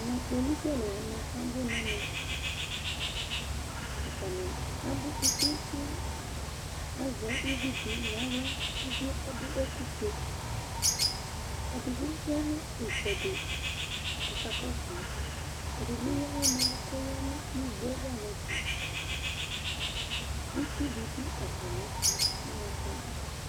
Ɛmɛ, kpolusi alʋ wanɩ abʋ nɛmɛAtanɩ abʋ kpekpekpeAzɛ uvi di naɣla, uvie ta dʋ ɛkʋ fue; ɛdɩ bɩ ya nʋ ɩtsɛdɩ kɔka kɔsʋ ma, ɛdɩ bɩ eyǝ aɣla dʋ nɛlʋ kɔya nʋ igbo ava nɛfɛItsu bɩ dʋ atamɩɛtʋ